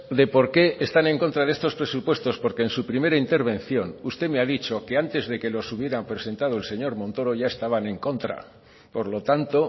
de por qué están en contra de estos presupuestos porque en su primera intervención usted me ha dicho que antes de que los hubieran presentado el señor montoro ya estaban en contra por lo tanto